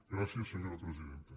gràcies senyora presidenta